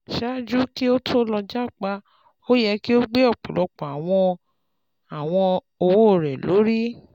Ṣaaju ki o to lọ Japa, o yẹ ki o gbe ọpọlọpọ awọn awọn owo rẹ lori